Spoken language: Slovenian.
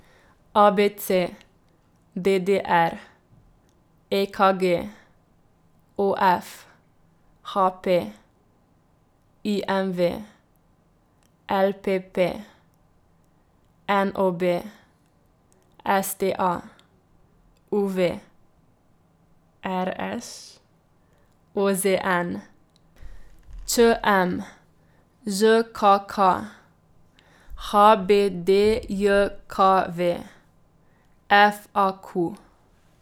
A B C; D D R; E K G; O F; H P; I M V; L P P; N O B; S T A; U V; R Š; O Z N; Č M; Ž K K; H B D J K V; F A Q.